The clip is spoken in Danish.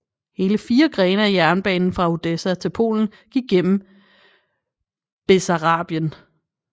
Hele 4 grene af jernbanen fra Odessa til Polen gik gennem Bessarabien